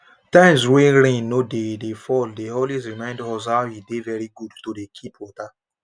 times wey rain no dey dey fall dey always remind us how e dey very good to dey keep water